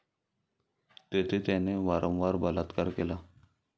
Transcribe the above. तेथे त्याने वारंवार बलात्कार केला.